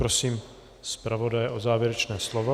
Prosím zpravodaje o závěrečné slovo.